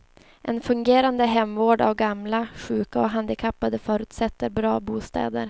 En fungerande hemvård av gamla, sjuka och handikappade förutsätter bra bostäder.